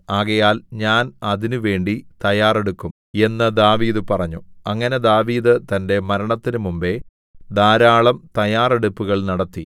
ആകയാൽ ഞാൻ അതിനുവേണ്ടി തയ്യാറെടുക്കും എന്നു ദാവീദ് പറഞ്ഞു അങ്ങനെ ദാവീദ് തന്റെ മരണത്തിന് മുമ്പെ ധാരാളം തയ്യാറെടുപ്പുകൾ നടത്തി